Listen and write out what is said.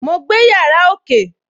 Mo gbé yàrá ókè